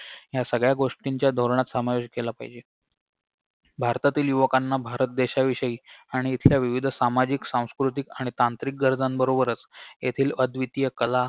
या सगळ्या गोष्टींचा धोरणात समावेश केला पाहिजे भारतातील युवकांना भारत देशाविषयी आणि इथल्या विविध सामाजिक सांस्कृतिक आणि तांत्रिक गरजांबरोबरच येथील अव्दितीय कला